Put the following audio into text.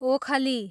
ओखली